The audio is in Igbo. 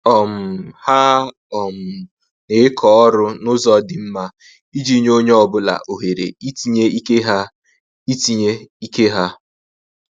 um Ha um na-eke ọrụ na-ụzọ dị mma, iji nye onye ọ bụla ohere itinye ike ha itinye ike ha